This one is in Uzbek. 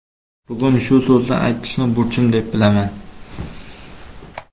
Bugun shu so‘zni aytishni burchim deb bilaman.